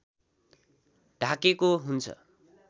ढाकेको हुन्छ